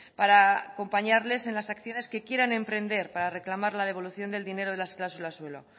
para acompañarles en las acciones que quieran emprender para reclamar la devolución del dinero de las cláusulas suelo